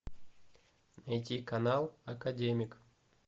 найди канал академик